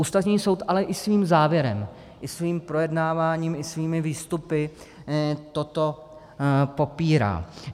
Ústavní soud ale i svým závěrem i svým projednáváním i svými výstupy toto popírá.